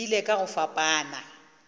di ile ka go fapana